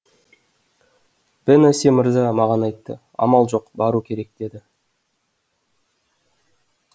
бенаси мырза маған айтты амал жоқ бару керек деді